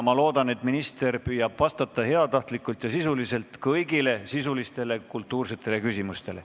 Ma loodan, et minister püüab vastata heatahtlikult ja sisuliselt kõigile sisulistele kultuursetele küsimustele.